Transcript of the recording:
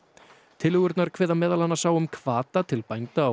tillögurnar kveða meðal annars á um hvata til bænda á